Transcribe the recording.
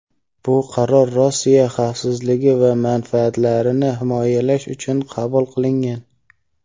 bu qaror Rossiya xavfsizligi va manfaatlarini himoyalash uchun qabul qilingan.